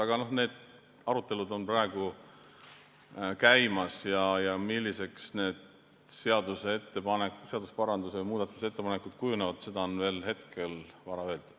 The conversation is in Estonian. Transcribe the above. Aga need arutelud on praegu käimas ja milliseks need seaduseparandused või muudatusettepanekud kujunevad, seda on hetkel veel vara öelda.